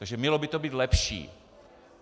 Takže mělo by to být lepší.